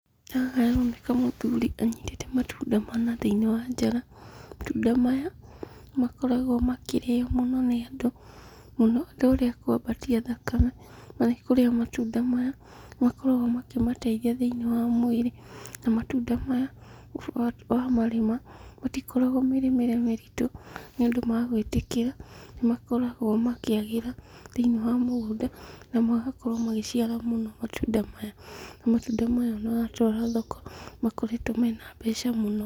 Haha haroneka mũthuri anyitĩte matunda mana thĩinĩ wa njara, matunda maya, nĩmakoragwo makĩrĩo mũno nĩ andũ, mũno ta arĩa akwambatia thakame, marĩa matunda maya, nĩmakoragwo makĩmateithia thĩinĩ wa mwĩrĩ, na matunda maya wa wa marĩma, matikoragwo mĩrĩmĩre mĩritũ, nĩũndũ magwĩtĩkĩra, nĩmakoragwo makĩagĩra thĩinĩ wa mũgũnda, na magakorwo magĩciara mũno matunda maya. Na matunda maya onawatwara thoko, nĩmakoretwo mena mbeca mũno.